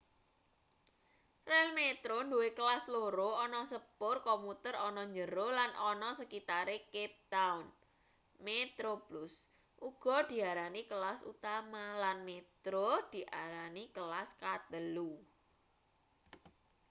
relmetro nduwe kelas loro ana sepur komuter ana njero lan ana sekitare cape town: metroplus uga diarani kelas utama lan metro diarani kelas katelu